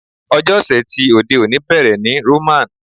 Ọjọ́ ọ̀sẹ̀ ti òde òní bẹ̀rẹ̀ ní Roman.